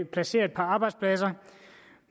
placere et par arbejdspladser